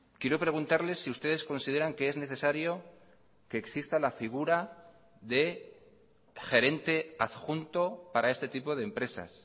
quiero preguntarle si ustedes consideran que es necesario que exista la figura de gerente adjunto para este tipo de empresas